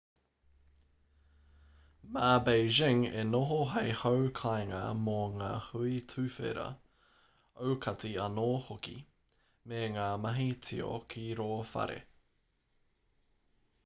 mā beijing e noho hei hau kāinga mō ngā hui tuwhera aukati anō hoki me ngā mahi tio ki rō whare